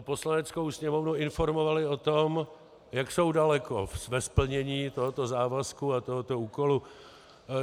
Poslaneckou sněmovnu informovali o tom, jak jsou daleko ve splnění tohoto závazku a tohoto úkolu.